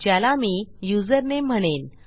ज्याला मी युझरनेम म्हणेन